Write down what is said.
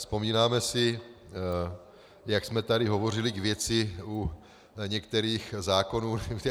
Vzpomínáme si, jak jsme tady hovořili k věci u některých zákonů.